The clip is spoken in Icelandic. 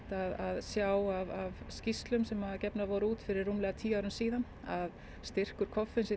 að sjá af skýrslum sem gefnar voru út fyrir rúmlega tíu árum síðan að styrkur koffeins í